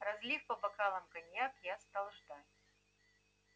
разлив по бокалам коньяк я стал ждать